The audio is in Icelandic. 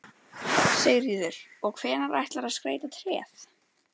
Sigríður: Og hvenær ætlarðu að skreyta tréð?